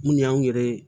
Mun y'anw yɛrɛ ye